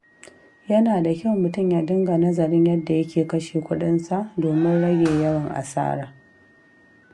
Yana da kyau mutum ya dinga nazarin yadda yake kashe kuɗinsa domin rage yawan asara.